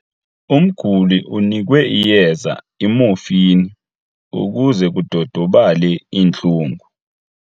Umguli unikwe iyeza imofini ukuze kudodobale iintlungu.